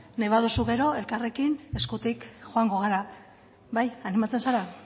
nahi baduzu gero elkarrekin eskutik joango gara bai animatzen zara